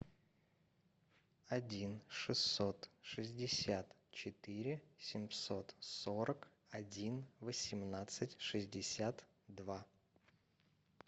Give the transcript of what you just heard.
один шестьсот шестьдесят четыре семьсот сорок один восемнадцать шестьдесят два